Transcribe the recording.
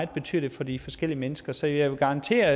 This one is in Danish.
betyder for de forskellige mennesker så jeg vil garantere